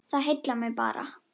Það heillar mig bara.